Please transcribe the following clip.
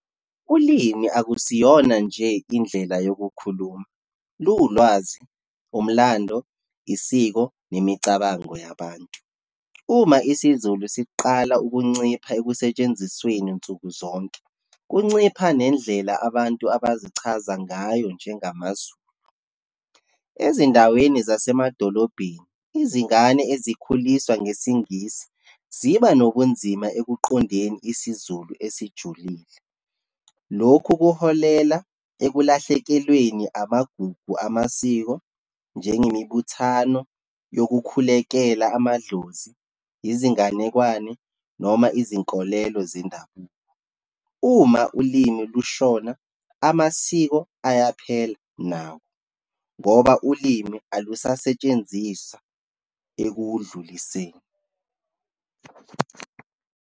Ulimi akusiyona nje indlela yokukhuluma, liwulwazi, umlando, isiko, nemicabango yabantu. Uma isiZulu siqala ukuncipha ekusentshenzisweni nsuku zonke, kuncipha nendlela abantu abazichaza ngayo njengamaZulu. Ezindaweni zasemadolobheni, izingane ezikhuliswa ngesiNgisi, ziba nobunzima ekuqondeni isiZulu esijulile. Lokhu kuholela ekulahlekelweni amagugu amasiko, njengemibuthano yokukhulekela amadlozi, izinganekwane, noma izinkolelo zendabuko. Uma ulimi lushona, amasiko ayaphela nawo, ngoba ulimi alusasetshenziswa ekuwudluliseni.